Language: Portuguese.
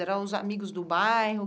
Eram os amigos do bairro?